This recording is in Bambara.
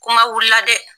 Kuma wulila dɛ